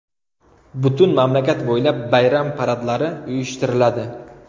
Butun mamlakat bo‘ylab bayram paradlari uyushtiriladi.